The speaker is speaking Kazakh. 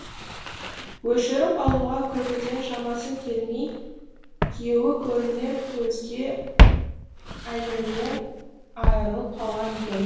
өшіріп алуға күлкіден шамасы келмей күйеуі көрінер көзге әйелінен айрылып қалған екен